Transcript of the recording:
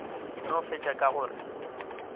no fetša ka go re